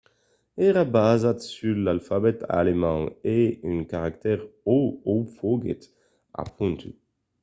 èra basat sus l'alfabet alemand e un caractèr õ/õ foguèt apondut